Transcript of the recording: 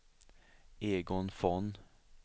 Egon Von